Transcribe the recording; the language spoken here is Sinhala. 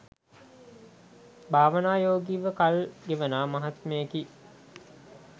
භාවනා යෝගීව කල්ගෙවනා මහත්මයෙකි.